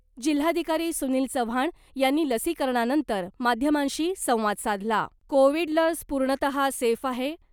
जिल्हाधिकारी सुनिल चव्हाण यांनी लसीकरणानंतर माध्यमांशी संवाद साधला कोविड लस पूर्णतहा सेफ आहे .